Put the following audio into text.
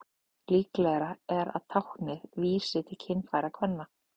Líklegra er talið að táknið vísi til kynfæra kvenna.